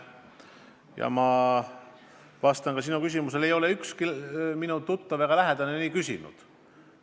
Ja ma vastan ka sinu küsimusele: ei ole ükski minu tuttav ega lähedane nii küsinud.